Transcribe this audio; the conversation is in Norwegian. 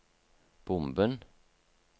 bomben